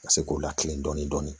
Ka se k'o lakilen dɔɔnin